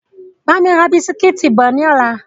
Bámi ra bisikítì bọ̀ ni ọ̀la!